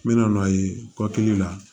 N bɛna n'a ye kɔkili la